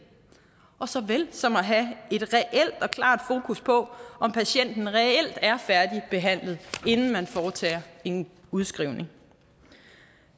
såvel som at have et reelt og klart fokus på om patienten reelt er færdigbehandlet inden der foretages en udskrivning